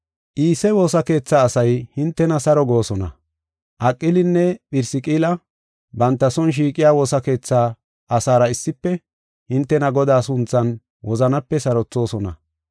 Iise woosa keetha asay hintena saro goosona. Aqilinne Phirisqilla banta son shiiqiya woosa keetha asaara issife hintena Godaa sunthan wozanape sarothoosona.